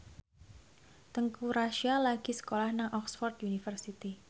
Teuku Rassya lagi sekolah nang Oxford university